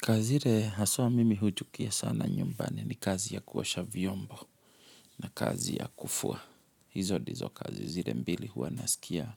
Kazi ile haswa mimi huchukia sana nyumbani ni kazi ya kuosha vyombo na kazi ya kufua. Hizo ndizo kazi zile mbili huwa nasikia.